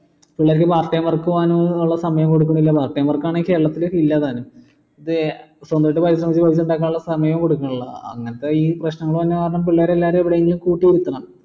പിള്ളേർക്ക് part time work പോകാനുള്ള സമയം കൊടുക്കുന്നില്ല part time work ആണെങ്കിൽ കേരളത്തിൽ ഇല്ല താനും ഇത് സ്വന്തായിട്ട് പൈസ കുറച്ച് ഉണ്ടാക്കാനുള്ള സമയം കൊടുക്കുന്നില്ല അങ്ങനെത്തെ ഈ പ്രശ്നങ്ങൾ വരണ കാരണം പിള്ളേർ എവിടെ എങ്കിലും